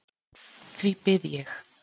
Því bið ég.